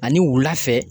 Ani wula fɛ